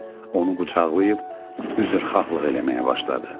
Onu qucaqlayıb üzrxahlıq eləməyə başladı.